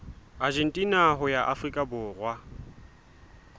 argentina ho ya afrika borwa